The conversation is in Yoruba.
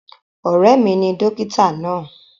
Ọ̀rẹ́ mi ni dókítà náà.